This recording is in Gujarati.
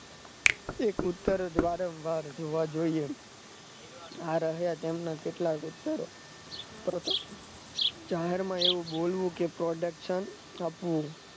એક ઉતર જ વારંવાર જોવ જોઈએ ના રહે જમ ના કેટલાક ઉતર કરોતો જાહેરમાં એવું બોલવું કે production આપવું